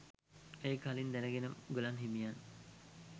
එය කලින් දැනගෙන මුගලන් හිමියන්